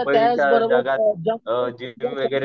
मला डान्स बरोबर